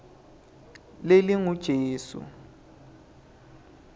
lelingujesu